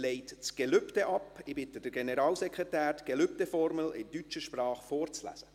Ich bitte den Generalsekretär, die Gelübdeformel in deutscher Sprache vorzulesen.